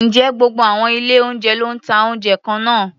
Ǹjẹ́ gbogbo àwọn ilé-oúnjẹ ló ń ta oúnjẹ kan náà?